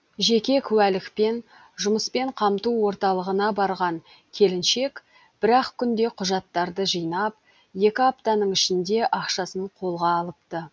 жеке куәлікпен жұмыспен қамту орталығына барған келіншек бір ақ күнде құжаттарды жинап екі аптаның ішінде ақшасын қолға алыпты